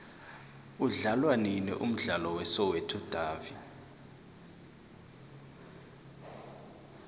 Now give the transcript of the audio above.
udlalwanini umdlalo we soweto davi